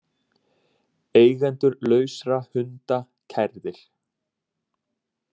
Eigendur lausra hunda kærðir